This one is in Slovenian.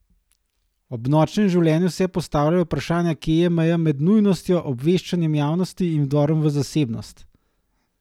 Ob Nočnem življenju se postavljajo vprašanja, kje je meja med nujnostjo obveščanja javnosti in vdorom v zasebnost?